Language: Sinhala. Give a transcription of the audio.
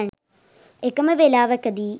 එකම වේලාවකදී